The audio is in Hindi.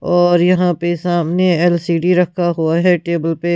और यहां पे सामने एल_सी_डी रखा हुआ है टेबल पे--